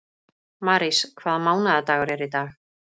Marís, hvaða mánaðardagur er í dag?